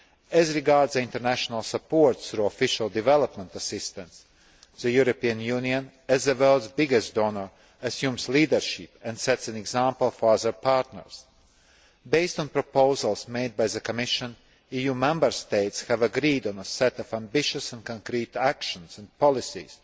As regards international support through Official Development Assistance, the European Union, as the world's biggest donor, assumes leadership and sets an example for other partners. Based on the proposals made by the Commission, EU Member States have agreed on a set of ambitious and concrete actions and policies